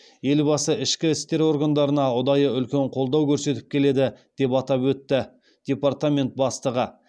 елбасы ішкі істер органдарына ұдайы үлкен қолдау көрсетіп келеді деп атап өтті департамент бастығы